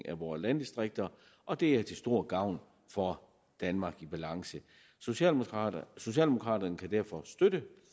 af vores landdistrikter og de er til stor gavn for danmark i balance socialdemokraterne socialdemokraterne kan derfor støtte